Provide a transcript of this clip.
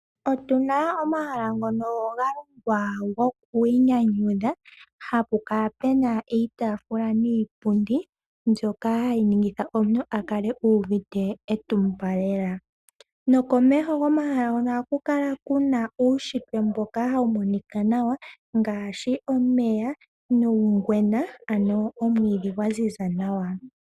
Otuna omahala ngono ga longwa gokwiinyanyudha, hapu kala puna iitafula niipundi , mbyoka hayi ningitha omuntu akale u uvite etumba leela. Komeho gomahala ngono ohaku kala kuna uushipe mboka hawu monika nawa, ngaashi omeya nuugwena ano omwiidhi gwa ziza nawa.